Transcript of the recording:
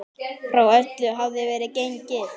Frá öllu hafði verið gengið.